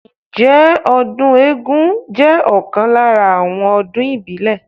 Ǹjẹ́ ọdún eégún jẹ́ ọ̀kan lára àwọn ọdún ìbílẹ̀?